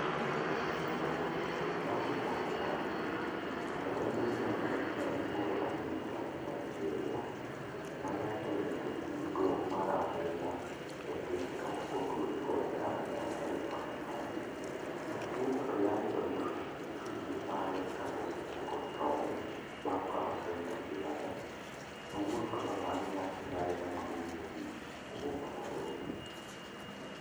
Lady Kad Zaki, nyadendi ma higa prang'wen kod adek ma ja Nigeria. Ma yande jatim nonro marahuma e TikTok kotudore kod kambi mar Teleperformance. Ma chutho to yande oyud ringre mare ka osechako tow, bang' ka osewito ngimane. Kawuono to nobag nyasi mare mogik e boma ma Nairobi.